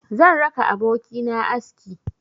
Zan raka abokina aski.